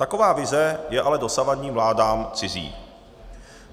Taková vize je ale dosavadním vládám cizí.